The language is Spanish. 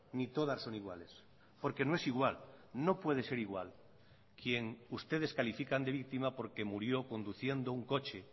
ni todas son iguales porque no es igual no puede ser igual quien ustedes califican de víctima porque murió conduciendo un coche